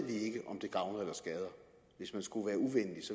gavner eller skader hvis man skulle være uvenlig